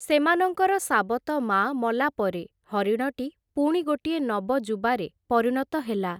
ସେମାନଙ୍କର ସାବତମାଆ ମଲାପରେ, ହରିଣଟି ପୁଣି ଗୋଟିଏ ନବଯୁବାରେ ପରିଣତ ହେଲା ।